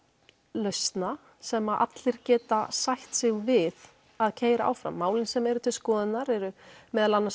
lausna sem allir geta sætt sig við að keyra áfram málin sem eru til skoðunar eru meðal annars